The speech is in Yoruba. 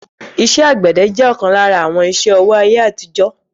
iṣẹ́ àgbẹ̀dẹ jẹ́ ọ̀kan lára àwọn iṣẹ́-ọwọ́ ayé àtijó